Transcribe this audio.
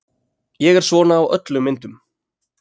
Ég er svona á öllum myndum.